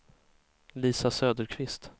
Lisa Söderqvist